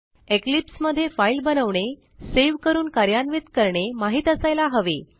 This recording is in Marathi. इक्लिप्स मध्ये फाईल बनवणे सेव्ह करून कार्यान्वित करणे माहित असायला हवे